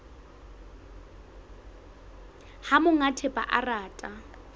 ha monga thepa a rata